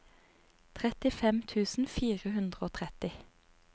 trettifem tusen fire hundre og tretti